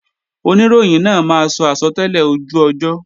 Oníròyìn náà máa sọ àsọtẹ́lẹ̀ ojú ọjọ́